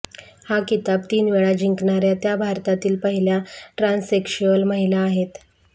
हा किताब तीनवेळा जिंकणाऱ्या त्या भारतातील पहिल्या ट्रांससेक्शुअल महिला आहेत